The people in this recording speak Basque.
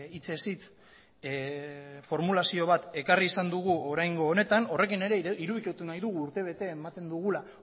hitzez hitz formulazio bat ekarri izan dugu oraingo honetan horrekin ere irudikatu nahi dugu urtebete ematen dugula